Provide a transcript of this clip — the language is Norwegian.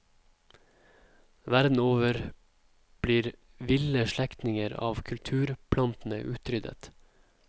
Verden over blir ville slektninger av kulturplantene utryddet.